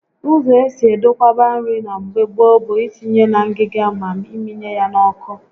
Ụzọ esi edokwaba nri na mgbe gboo bụ itinye na ngịga ma ịmịnye ya n'ọkụ